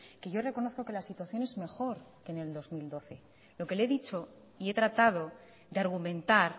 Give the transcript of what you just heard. que yo reconozco que la situación es mejor que en el dos mil doce lo que le he dicho y he tratado de argumentar